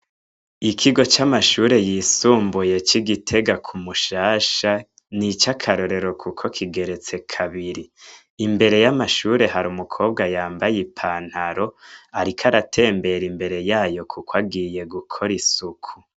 Ikigo c'amashure yisumbuye c'Igitega ku mushasha ni ico akarorero kuko kigeretse kabiri. Imbere y'amashure hari umukobwa yambaye i pantaro, ariko aratembera imbere y'ayo kuko agiye gukora isuku.